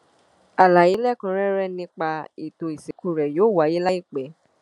àlàyé lẹ́kùnúnrẹ́rẹ́ nípa ètò ìsìnkú rẹ̀ yóò wáyé láìpẹ́